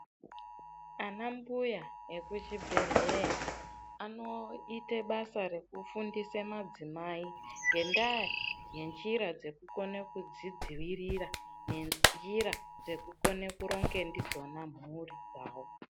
Ana mbuya ekuzvibhedhleya anoite basa rekufundise madzimai ngendaa yenjira dzekukone kudzidziirira nenjira dzekukone kuronge ndidzona mhuri dzawo.